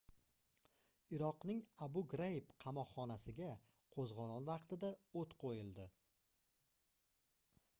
iroqning abu graib qamoqxonasiga qoʻzgʻolon vaqtida oʻt qoʻyildi